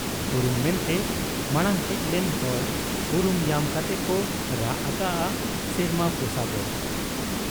ᱩᱨᱩᱢ ᱢᱮᱱᱛᱮ ᱢᱟᱬᱟᱝ ᱦᱮᱡ ᱞᱮᱱ ᱦᱚᱲ ᱩᱨᱩᱢ ᱧᱟᱢ ᱠᱟᱛᱮ ᱠᱚ ᱨᱟᱜ ᱟᱠᱟᱜ ᱟ ᱥᱮᱨᱢᱟ ᱯᱚᱥᱟᱜᱚᱜ ᱾